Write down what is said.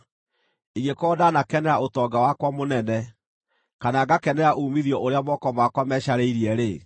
ingĩkorwo ndanakenera ũtonga wakwa mũnene, kana ngakenera uumithio ũrĩa moko makwa mecarĩirie-rĩ,